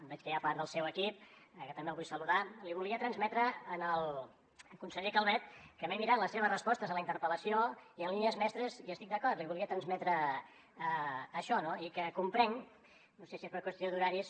veig que hi ha part del seu equip que també el vull saludar li volia transmetre al conseller calvet que m’he mirat les seves respostes a la interpel·lació i en línies mestres hi estic d’acord li volia transmetre això no i que comprenc no sé si és per qüestió d’horaris